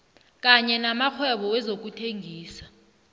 kanye namakghwebo wezokuthengisa